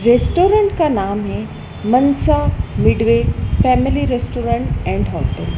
Restaurant का नाम है Mansa Midway family restaurant and hotel.